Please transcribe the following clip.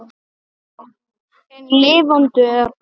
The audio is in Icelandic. En lifandi er hann.